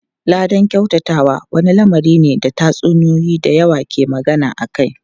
Ladan kyautatawa wani lamari ne da tatsuniyoyi da yawa ke magana akai.